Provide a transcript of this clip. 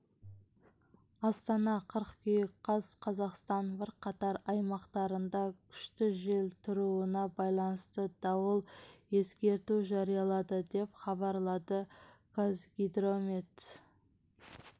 астана қыркүйек қаз қазақстанның бірқатар аймақтарында күшті жел тұруына байалнысты дауыл ескерту жариялады деп хабарлады қазгидромет